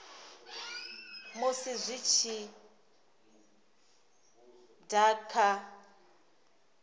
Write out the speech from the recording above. musi zwi tshi da kha